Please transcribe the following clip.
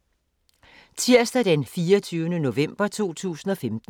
Tirsdag d. 24. november 2015